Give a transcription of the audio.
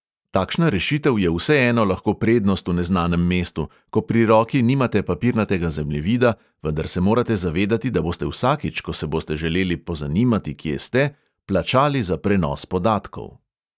Takšna rešitev je vseeno lahko prednost v neznanem mestu, ko pri roki nimate papirnatega zemljevida, vendar se morate zavedati, da boste vsakič, ko se boste želeli pozanimati, kje ste, plačali za prenos podatkov.